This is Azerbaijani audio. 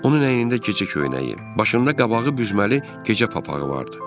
Onun əynində gecə köynəyi, başında qabağı büzməli gecə papağı vardı.